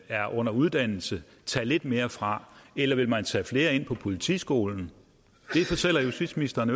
er under uddannelse tage lidt mere fra eller vil man tage flere ind på politiskolen det fortæller justitsministeren